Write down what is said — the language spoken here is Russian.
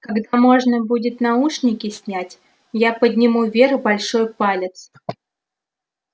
когда можно будет наушники снять я подниму вверх большой палец